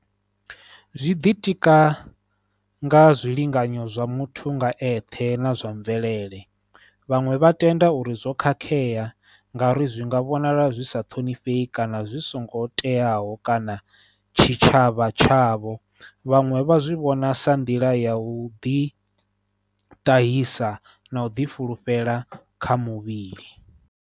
Zwi ḓitika nga zwilinganyo zwa muthu nga eṱhe na zwa mvelele, vhaṅwe vha tenda uri zwo khakhea ngauri zwi nga vhonala zwi sa ṱhonifhi kana zwi songo teaho kana tshitshavha tshavho, vhaṅwe vha zwi vhona sa nḓila ya u ḓitahisa na u ḓifulufhela kha muvhili.